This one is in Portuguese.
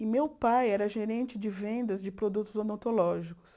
E meu pai era gerente de vendas de produtos odontológicos.